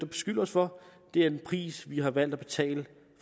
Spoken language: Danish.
beskyldt os for det er en pris vi har valgt at betale